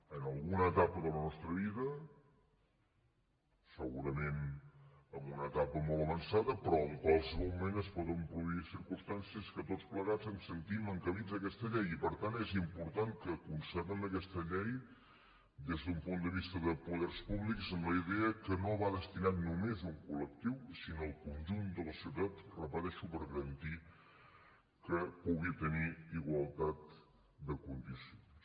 en alguna etapa de la nostra vida segurament en una etapa molt avançada però en qualsevol moment es poden produir circumstàncies en què tots plegats ens sentim encabits en aquesta llei i per tant és important que concebem aquesta llei des d’un punt de vista de poders públics amb la idea que no va destinada només a un colla societat ho repeteixo per garantir que pugui tenir igualtat de condicions